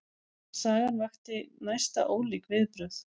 Sagan vakti næsta ólík viðbrögð.